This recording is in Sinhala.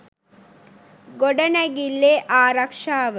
ගොඩනැගිල්ලේ ආරක්‍ෂාව